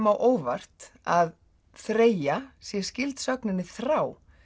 á óvart að þreyja sé skyld sögninni þrá